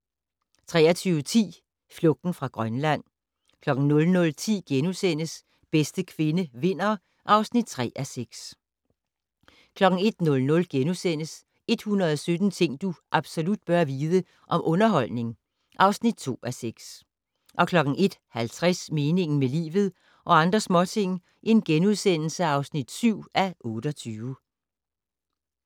23:10: Flugten fra Grønland 00:10: Bedste kvinde vinder (3:6)* 01:00: 117 ting du absolut bør vide - om underholdning (2:6)* 01:50: Meningen med livet - og andre småting (7:28)*